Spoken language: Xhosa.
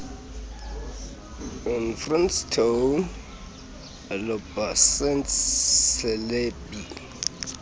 efrancistown elobatse eselebi